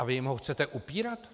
A vy jim ho chcete upírat?